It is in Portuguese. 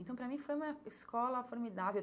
Então, para mim, foi uma escola formidável.